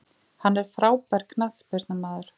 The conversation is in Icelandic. Hann er frábær knattspyrnumaður.